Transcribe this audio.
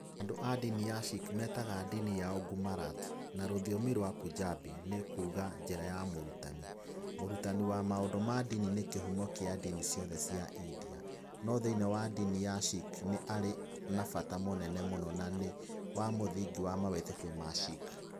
Andũ a ndini ya Sikh metaga ndini yao Gurmat, na rũthiomi rwa Punjabi nĩ kuuga "njĩra ya mũrutani".Mũrutani wa maũndũ ma ndini nĩ kĩhumo kĩa ndini ciothe cia India, no thĩinĩ wa ndini ya Sikh nĩ arĩ na bata mũnene mũno na nĩ we mũthingi wa mawĩtĩkio wa Sikh.